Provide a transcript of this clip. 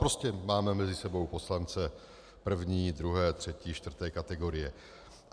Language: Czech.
Prostě máme mezi sebou poslance první, druhé, třetí, čtvrté kategorie.